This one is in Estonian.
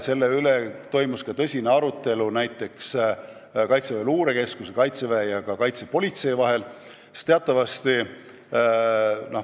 Selle üle toimus ka tõsine arutelu Kaitseväe Luurekeskuse, Kaitseväe ja ka Kaitsepolitseiameti vahel.